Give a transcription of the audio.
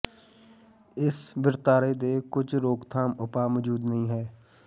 ਇਸ ਵਰਤਾਰੇ ਦੇ ਕੁਝ ਰੋਕਥਾਮ ਉਪਾਅ ਮੌਜੂਦ ਨਹੀ ਹੈ